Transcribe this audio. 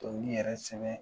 Dɔnkili yɛrɛ sɛbɛn